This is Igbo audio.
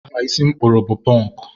aha isi m kpụrụ bụ pọnkụ.